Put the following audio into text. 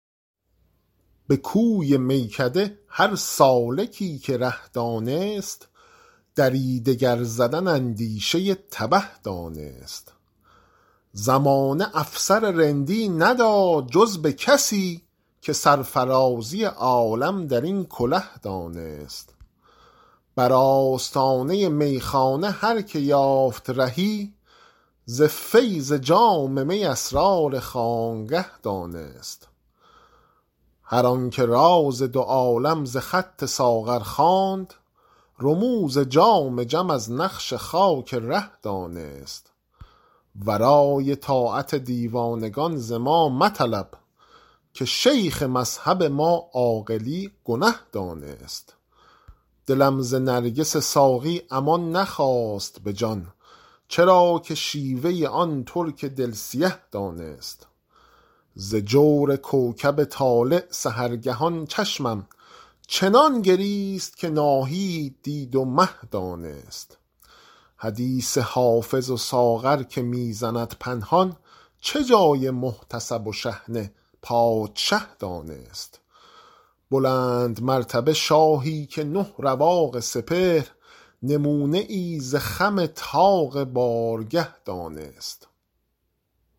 به کوی میکده هر سالکی که ره دانست دری دگر زدن اندیشه تبه دانست زمانه افسر رندی نداد جز به کسی که سرفرازی عالم در این کله دانست بر آستانه میخانه هر که یافت رهی ز فیض جام می اسرار خانقه دانست هر آن که راز دو عالم ز خط ساغر خواند رموز جام جم از نقش خاک ره دانست ورای طاعت دیوانگان ز ما مطلب که شیخ مذهب ما عاقلی گنه دانست دلم ز نرگس ساقی امان نخواست به جان چرا که شیوه آن ترک دل سیه دانست ز جور کوکب طالع سحرگهان چشمم چنان گریست که ناهید دید و مه دانست حدیث حافظ و ساغر که می زند پنهان چه جای محتسب و شحنه پادشه دانست بلندمرتبه شاهی که نه رواق سپهر نمونه ای ز خم طاق بارگه دانست